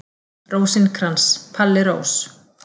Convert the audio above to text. Rósinkrans, Palli Rós.